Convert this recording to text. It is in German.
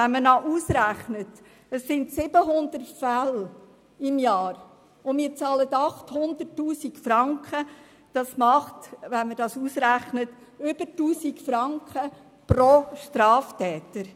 Wenn man berechnet, dass für 700 Fälle pro Jahr 800 000 Franken bezahlt werden, kommt man auf mehr als 1000 Franken pro Straftäter.